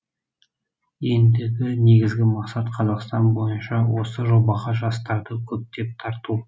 ендігі негізгі мақсат қазақстан бойынша осы жобаға жастарды көптеп тарту